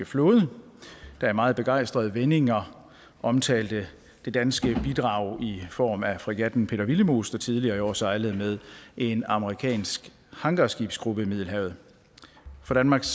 flåde der i meget begejstrede vendinger omtalte det danske bidrag i form af fregatten peter willemoes der tidligere i år sejlede med en amerikansk hangarskibsgruppe i middelhavet for danmarks